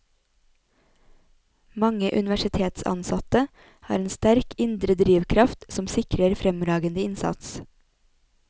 Mange universitetsansatte har en sterk indre drivkraft som sikrer fremragende innsats.